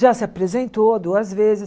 Já se apresentou duas vezes.